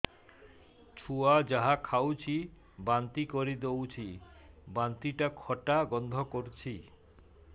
ଛୁଆ ଯାହା ଖାଉଛି ବାନ୍ତି କରିଦଉଛି ବାନ୍ତି ଟା ଖଟା ଗନ୍ଧ କରୁଛି